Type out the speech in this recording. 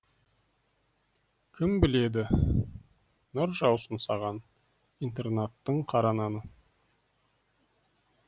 кім біледі нұр жаусын саған интернаттың қара наны